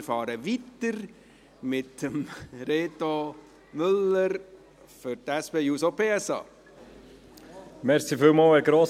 Wir fahren weiter mit Reto Müller für die SP-JUSO-PSA.